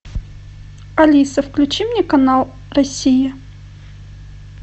алиса включи мне канал россия